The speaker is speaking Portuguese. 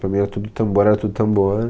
Para mim era tudo tambor, era tudo tambor.